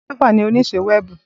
Christopher ni onise wẹẹbu.